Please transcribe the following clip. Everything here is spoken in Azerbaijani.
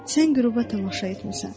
Sən qüruba tamaşa etmisən.